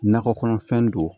Nakɔ kɔnɔfɛn don